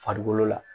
Farikolo la